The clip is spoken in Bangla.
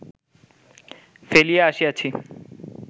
ফেলিয়া আসিয়াছি